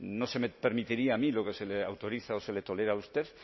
no se permitiría a mí lo que se le autoriza o se le tolera a usted